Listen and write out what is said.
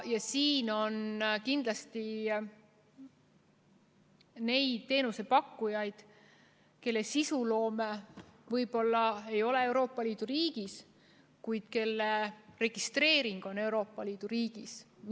Kindlasti on neid teenusepakkujaid, kelle sisuloome ei toimu Euroopa Liidu riigis, kuid kes on registreeritud Euroopa Liidu riigis.